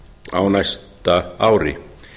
á næsta ári